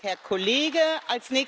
Pani Przewodnicząca!